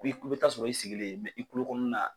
i bi t'a sɔrɔ i sigilen i kulo kɔnɔna na.